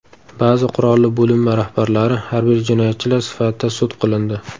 Ba’zi qurolli bo‘linma rahbarlari harbiy jinoyatchilar sifatida sud qilindi.